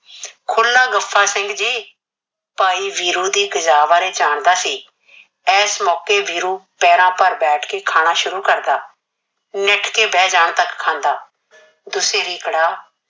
ਖੁੱਲਾ ਗੱਫਾ ਸਿੰਘ ਜੀ। ਭਾਈ ਵੀਰੂ ਦੀ ਕਜਾ ਬਾਰੇ ਜਾਣਦਾ ਸੀ। ਇਸ ਮੌਕੇ ਵੀਰੂ ਪੈਰਾਂ ਭਾਰ ਬੈਠ ਕੇ ਖਾਣਾ ਸ਼ੁਰੂ ਕਰਦਾ। ਨਿੱਠ ਕੇ ਬਹਿ ਜਾਣ ਤੱਕ ਖਾਂਦਾ। ਦੁਸੇ ਦੀ ਕੜਾਹ